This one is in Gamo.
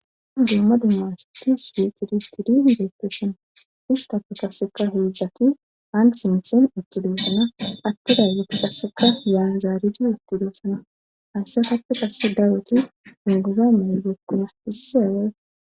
An jumma dumma s duus di tidistidi geettosana ista pekaseka heedzjati aan sinthen uttidosana atti ray yiti kasseka yaan zaaridi uttidoosana haysse happe qasse dawoti unguza maygokunas issi away